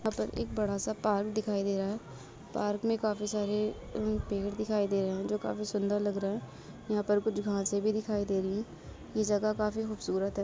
यहाँ पर एक बड़ा सा पार्क दिखाई दे रहा है पार्क में काफी सारे पेड़ दिखाई दे रहे हैं जो काफी सुंदर लग रहे हैं यहाँ पर कुछ घाँसें भी दिखाई दे रही हैं । यह जगह काफी खूबसूरत है।